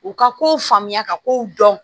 U ka kow faamuya ka kow dɔn